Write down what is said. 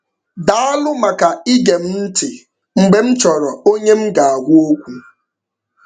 Daalụ maka ige m ntị mgbe m chọrọ onye m ga-agwa okwu.